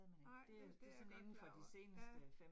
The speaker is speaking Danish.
Nej, det det jeg godt klar over, ja